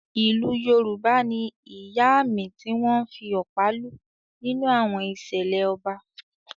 Ìlù Yorùbá ni “Ìyáàmì” tí wọ́n ń fi ọ̀pá lù nínú àwọn ìṣẹ̀lẹ̀ ọba.